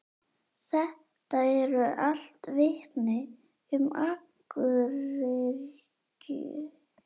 Þetta eru allt vitni um akuryrkju.